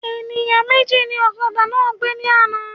Ènìyàn méjì ní ọ̀kadà náà gbé ní àna